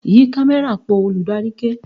"Yí kámẹ́rà po "! Olùdarí ké.